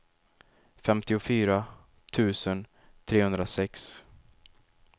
femtiofyra tusen trehundrasex